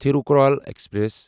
Thirukkural express